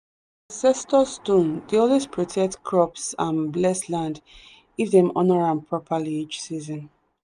the ancestor stone dey always protect crops and bless land if them honour am properly each season.